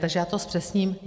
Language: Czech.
Takže já to zpřesním.